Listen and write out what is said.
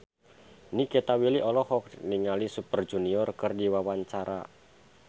Nikita Willy olohok ningali Super Junior keur diwawancara